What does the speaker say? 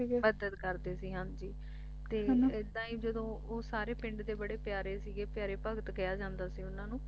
ਮਦਦ ਕਰਦੇ ਸੀ ਹਾਂ ਜੀ ਤੇ ਐਦਾਂ ਹੀ ਜਦੋਂ ਉਹ ਸਾਰੇ ਪਿੰਡ ਦੇ ਬੜੇ ਪਿਆਰੇ ਸੀ ਪਿਆਰੇ ਭਗਤ ਕਿਹਾ ਜਾਂਦਾ ਸੀ ਉਨ੍ਹਾਂ ਨੂੰ